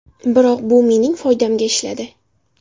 Biroq bu mening foydamga ishladi.